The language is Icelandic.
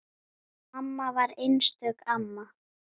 Mamma var einstök amma.